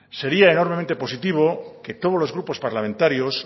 sería enormemente positivo que todos los grupos parlamentarios